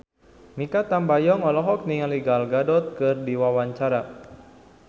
Mikha Tambayong olohok ningali Gal Gadot keur diwawancara